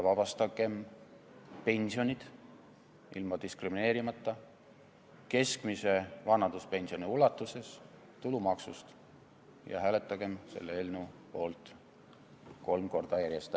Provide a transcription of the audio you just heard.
Vabastagem pensionid ilma diskrimineerimata keskmise vanaduspensioni ulatuses tulumaksust ja hääletagem selle eelnõu poolt kolm korda järjest.